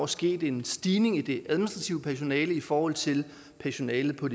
sket en stigning i det administrative personale i forhold til personalet på